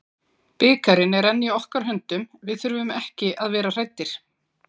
Bikarinn er enn í okkar höndum, við þurfum ekki að vera hræddir.